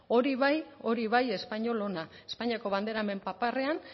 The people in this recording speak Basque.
hori bai hori bai espainiol ona espainiako bandera hemen paparrean